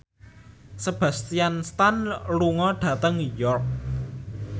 Sebastian Stan lunga dhateng York